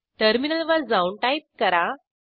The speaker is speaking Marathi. टर्मिनल वर जाऊन टाईप करा